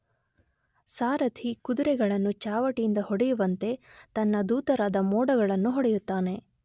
ಸಾರಥಿ ಕುದುರೆಗಳನ್ನು ಚಾವಟಿಯಿಂದ ಹೊಡೆವಂತೆ ತನ್ನ ದೂತರಾದ ಮೋಡಗಳನ್ನು ಹೊಡೆಯುತ್ತಾನೆ.